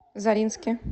заринске